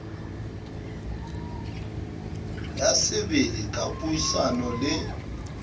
ya sebele ka puisano le